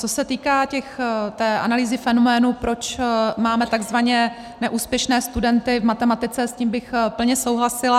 Co se týká té analýzy fenoménu, proč máme takzvaně neúspěšné studenty v matematice, s tím bych plně souhlasila.